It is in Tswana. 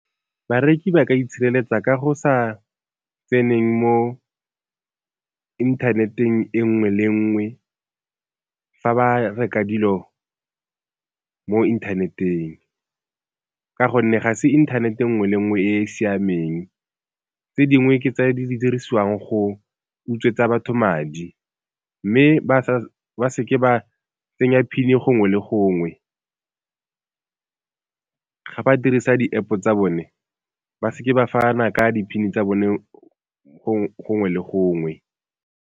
Bareki ba ka itshireletsa ka go sa tseneng mo inthaneteng e nngwe le nngwe fa ba reka dilo mo inthaneteng, ka gonne ga se internet nngwe le nngwe e e siameng, tse dingwe ke tse di dirisiwang go utswetsa batho madi, mme ba se ke ba tsenya pin gongwe le gongwe. Ga ba dirisa di-App-o tsa bone ba se ke ba fana ka di-PIN-e tsa bone gongwe le gongwe.